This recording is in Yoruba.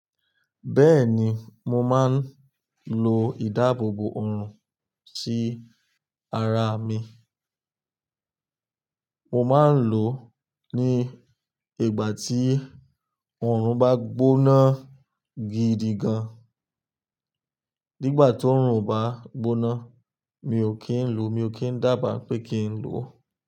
Bẹ́ẹ̀ni, mo máa ń lo ìdáàbòbò òòrùn sí ara mi. Mo máa ń lò ó ní ìgbà tí òòrùn bá gbóná gidi gan. Nígbà tí òòrùn bá ń gbóná, mi ò kí ń lò ó, mi ò kí ń dábàá pé kí ń lò ó.